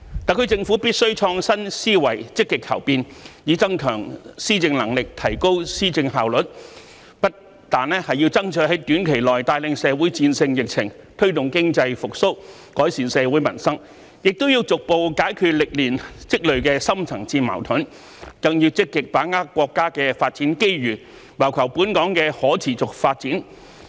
特區政府必須創新思維，積極求變，以增強施政能力，提高施政效率，不但要爭取在短期內帶領社會戰勝疫情，推動經濟復蘇，改善社會民生，亦要逐步解決歷年積聚的深層次矛盾，更要積極把握國家的發展機遇，謀求本港的可持續發展。